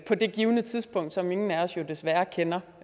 det givne tidspunkt som ingen af os jo desværre kender